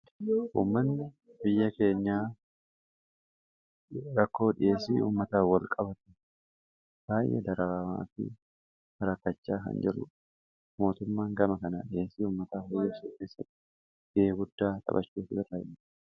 Uummanni biyya keenyaa rakkoo dhiheesii ummataa wal qabatu baay'ee dararamaa fi rakkachaa kan jirudha. Mootummaan gama kana dhiheesii uummataa dhiheessu keessatti gahee guddaa taphachuutu irraa eegama.